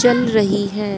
जल रही है।